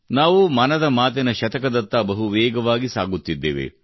ನಾವು ಮನದ ಮಾತಿನ ಶತಕದತ್ತ ಬಹು ವೇಗವಾಗಿ ಸಾಗುತ್ತಿದ್ದೇವೆ